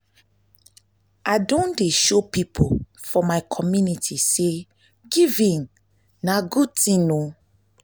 i don dey show pipo for my community sey giving na good tin.